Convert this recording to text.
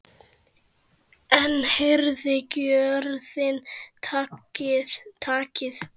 Enn herðir gjörðin takið.